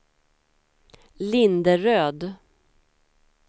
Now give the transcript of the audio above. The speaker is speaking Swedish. Linderöd